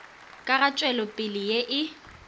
ka ga tšwelopele ye e